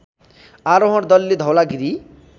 आरोहण दलले धौलागिरी